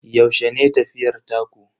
Yaushe ne tafiyar taku?